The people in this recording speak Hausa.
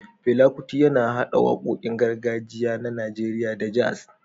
Fela Kuti, yana haɗa waƙoƙin gargajiya na Najeriya da jazz